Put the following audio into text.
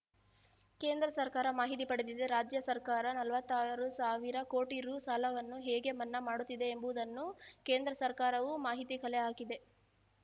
ಕೇಂದ್ರ ಸರ್ಕಾರ ಮಾಹಿತಿ ಪಡೆದಿದೆ ರಾಜ್ಯ ಸರ್ಕಾರ ನಲವತ್ತಾರು ಸಾವಿರ ಕೋಟಿ ರು ಸಾಲವನ್ನು ಹೇಗೆ ಮನ್ನಾ ಮಾಡುತ್ತಿದೆ ಎಂಬುದನ್ನು ಕೇಂದ್ರ ಸರ್ಕಾರವೂ ಮಾಹಿತಿ ಕಲೆ ಹಾಕಿದೆ